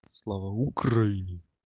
слава украине